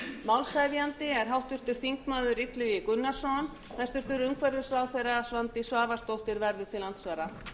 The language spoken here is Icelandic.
málshefjandi er háttvirtur þingmaður illugi gunnarsson hæstvirtur umhverfisráðherra svandís svavarsdóttir verða til andsvara